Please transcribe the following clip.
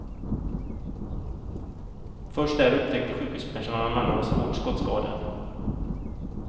Först där upptäckte sjukhuspersonalen att mannen var svårt skottskadad.